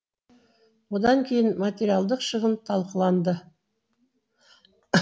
одан кейін материалдық шығын талқыланады